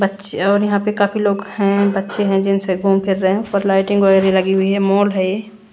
बच्चे और यहां पर काफी लोग हैं बच्चे हैं जिनसे घूम फिर रहे हैं लाइटिंग वगैर लगी हुई है मॉल है ये--